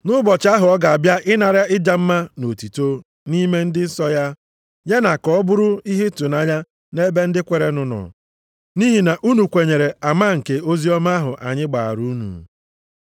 nʼụbọchị ahụ ọ ga-abịa ịnara ịja mma na otuto, nʼime ndị nsọ ya, ya na ka ọ bụrụ ihe ịtụnanya nʼebe ndị kweerenụ nọ, nʼihi na unu kwenyere ama nke oziọma ahụ anyị gbaara unu.